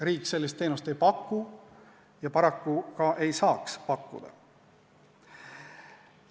Riik sellist teenust ei paku ja paraku ei saakski pakkuda.